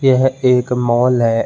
यह एक मॉल है।